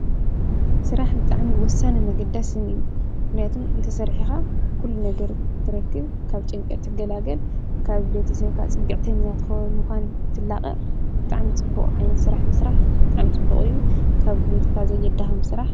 ስራሕ ብጣዕሚ ወሳንን ኣገዳስን እዩ፡፡ ምኽንያቱም እንተሰሪሕኻ ኩሉ ነገር ትረክብ፣ ካብ ጭንቀት ትገላገል፣ ካብ ቤተሰብካ ፅግዕተኛ ትኾን ምዃን ትላቐቕ ብጣዕሚ ዓይነት ስራሕ ምስራሕ ብጣዕሚ ፅቡቕ እዩ፡፡ ካብ ጉልበትካ ዘየዳኽም ስራሕ።